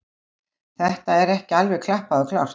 Þetta er ekki alveg klappað og klárt.